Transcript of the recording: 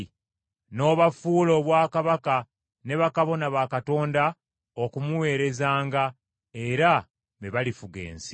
N’obafuula obwakabaka ne bakabona ba Katonda okumuweerezanga, era be balifuga ensi.”